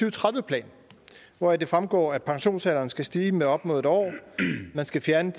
og tredive plan hvoraf det fremgår at pensionsalderen skal stige med op mod en år at man skal fjerne